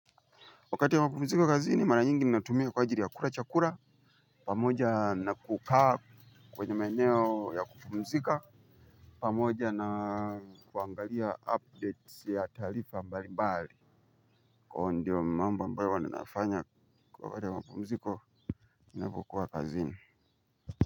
Wakati ya mpumziko kazini mara nyingi natumia kwa jiri ya kura chakura pamija nakukaa kwenye maeneo ya kupumzika. Pamoja na kuangalia update ya taarifa mbali mbali. Kwa ndio mambo ambayo huwa ni nafanya kwa kata ya mpumziko inabukuwa kazini.